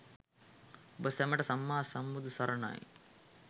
ඔබ සැමට සම්මා සම්බුදු සරණයි?